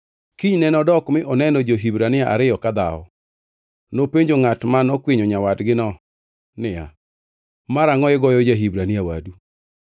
Kinyne nodok mi oneno jo-Hibrania ariyo ka dhawo. Nopenjo ngʼat ma nokwinyo nyawadgino niya, “Marangʼo igoyo ja-Hibrania wadu?”